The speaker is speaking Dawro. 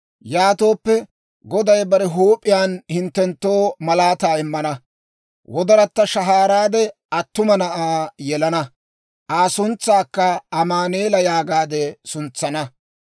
Yaatooppe, Goday bare huup'iyaan hinttenttoo malaataa immana; gellayatta shahaaraade attuma na'aa yelana; Aa suntsaakka Amaanu'eela yaagaade suntsana.